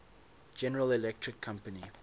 general electric company